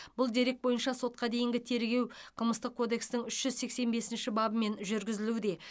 бұл дерек бойынша сотқа дейінгі тергеу қылмыстық кодекстің үш жүз сексен бесінші бабымен жүргізілуде